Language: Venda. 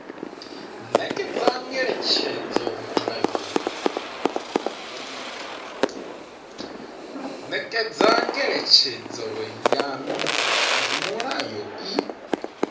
nekedza ngeletshedzo ya mulayo i